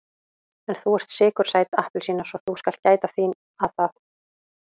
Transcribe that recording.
En þú ert sykursæt appelsína svo þú skalt gæta þín að það.